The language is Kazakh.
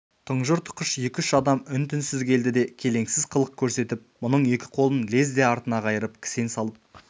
тұнжыр тұқыш екі-үш адам үн-түнсіз келді де келеңсіз қылық көрсетіп мұның екі қолын лезде артына қайырып кісен салып